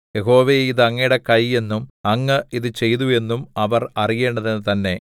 യഹോവേ ഇതു അങ്ങയുടെ കൈ എന്നും അങ്ങ് ഇതു ചെയ്തു എന്നും അവർ അറിയേണ്ടതിന് തന്നെ